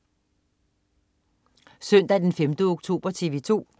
Søndag den 5. oktober - TV 2: